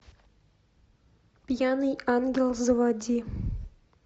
пьяный ангел заводи